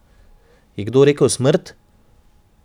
Je kdo rekel smrt?